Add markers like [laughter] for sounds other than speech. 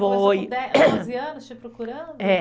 Foi. [coughs] Porque ela começou com onze anos te procurando? É